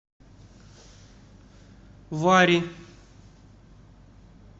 варри